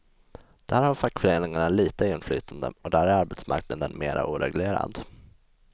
Där har fackföreningarna litet inflytande, och där är arbetsmarknaden mera oreglerad.